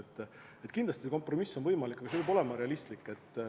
Nii et kindlasti see kompromiss on võimalik, aga see peab olema realistlik.